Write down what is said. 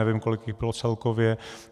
Nevím, kolik jich bylo celkově.